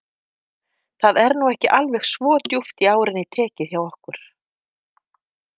Það er nú ekki alveg svo djúpt í árinni tekið hjá okkur.